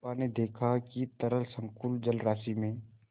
चंपा ने देखा कि तरल संकुल जलराशि में